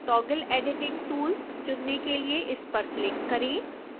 toggle editing tool चुनने के लिए इस पर क्लिक करें